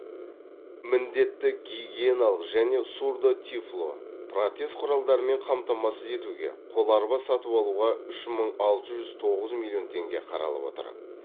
міндетті гигиеналық және сурдо тифло протез құралдарымен қамтамасыз етуге қол арба сатып алуға үш мың алты жүз тоғыз миллион теңге қаралып отыр